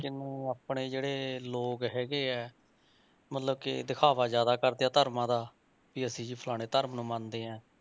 ਜਿਨੁ ਆਪਣੇ ਜਿਹੜੇ ਲੋਕ ਹੈਗੇ ਹੈ ਮਤਲਬ ਕਿ ਦਿਖਾਵਾ ਜ਼ਿਆਦਾ ਕਰਦੇ ਹੈ ਧਰਮਾਂ ਦਾ ਵੀ ਅਸੀਂ ਜੀ ਫਲਾਣੇ ਧਰਮ ਨੂੰ ਮੰਨਦੇ ਹਾਂ,